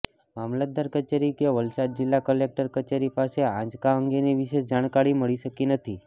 મામલતદાર કચેરી કે વલસાડ જિલ્લા કલેકટર કચેરી પાસે આંચકા અંગેની વિશેષ જાણકારી મળી શકી નથી